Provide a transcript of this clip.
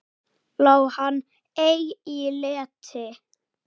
Lá hann ei í leti.